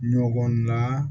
Ɲɔgɔn na